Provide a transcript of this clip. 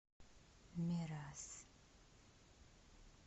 мирас